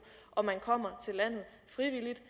om man kommer til landet frivilligt